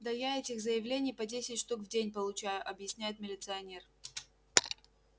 да я этих заявлений по десять штук в день получаю объясняет милиционер